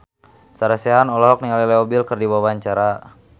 Sarah Sechan olohok ningali Leo Bill keur diwawancara